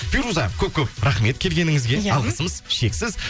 фируза көп көп рахмет келгеніңізге иә алғысымыз шексіз